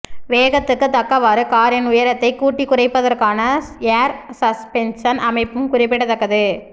வேகத்துக்கு தக்கவாறு காரின் உயரத்தை கூட்டிக் குறைப்பதற்கான ஏர் சஸ்பென்ஷன் அமைப்பும் குறிப்பிடத்தக்கது